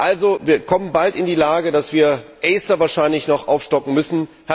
Also wir kommen bald in die Lage, dass wir ACER wahrscheinlich noch aufstocken müssen.